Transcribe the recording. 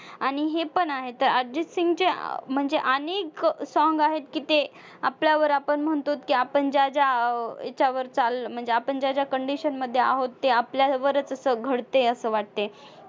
आणि हे पण आहेत. अर्जितसिंगचे म्हणजे अनेक song आहेत की ते आपल्यावर आपण म्हणतो की आपण ज्या ज्या अं म्हणजे आपण ज्या ज्या condition मध्ये आहोत ते आपल्यावर तसं घडते असं वाटते.